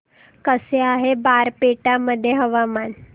कसे आहे बारपेटा मध्ये हवामान